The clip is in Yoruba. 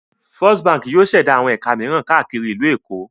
First Báńkì yóò ṣẹ̀dá àwọn ẹ̀ka mìíràn káàkiri ìlú Èkó.